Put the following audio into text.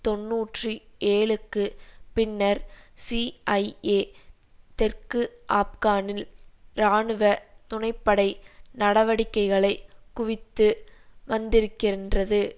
தொன்னூற்றி ஏழுக்குப் பின்னர் சிஐஏ தெற்கு ஆப்கானில் இராணுவ துணை படை நடவடிக்கைகளை குவித்து வந்திருக்கின்றது